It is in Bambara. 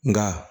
Nka